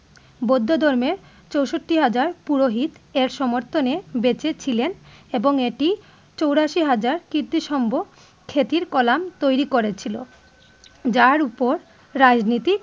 বৌধ ধর্মে চৌষট্টি হাজার পুরোহিত এর সমর্থনে বেঁচে ছিলেন এবং এটি চৌরাশি হাজার কীর্তিসম্ভ খ্যাতির কলাম তৈরি করেছিলো যার উপর রাজনীতিক।